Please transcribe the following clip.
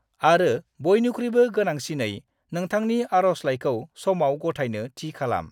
आरो बयनिख्रुयबो गोनांसिनै, नोंथांनि आर'जलाइखौ समाव गथायनो थि खालाम।